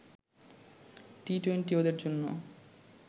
T twenty ওদের জন্য